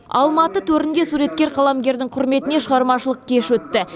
алматы төрінде суреткер қаламгердің құрметіне шығармашылық кеш өтті